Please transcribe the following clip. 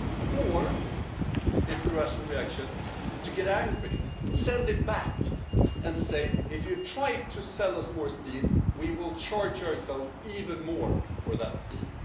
Or is it the Russian reaction, which is to get angry, send it back and say, If you try to sell us more steel, we will charge ourselves even more for that steel'?